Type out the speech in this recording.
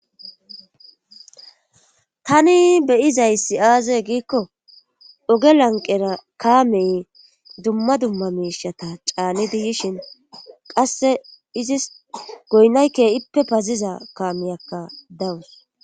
Tani beyizay si7aaze giikko oge lanqera kaamey dumma dumma miishata caanidi yishin qasse izis goynayke7ippe paziza kaameyakka dawus